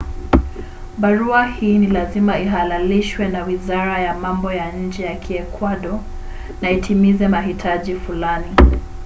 barua hii ni lazima ihalalishwe na wizara ya mambo ya nje ya kiekwado na itimize mahitaji fulani